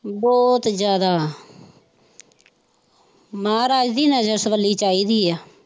ਬਹੁਤ ਜਾਂਦਾ ਮਹਾਰਾਜ ਦੀ ਨਜ਼ਰ ਸਵਲੀ ਚਾਹੀਦੀ ਆ।